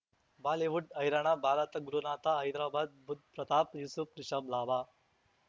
Bollywood ಹೈರಾಣ ಭಾರತ ಗುರುನಾಥ ಹೈದರಾಬಾದ್ ಬುಧ್ ಪ್ರತಾಪ್ ಯೂಸುಫ್ ರಿಷಬ್ ಲಾಭ